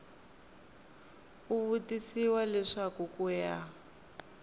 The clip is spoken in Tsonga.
u tivisiwa leswaku ku ya